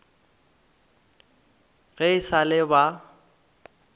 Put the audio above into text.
ge e sa le ba